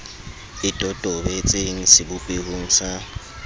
e totobe tseng sebopehong sa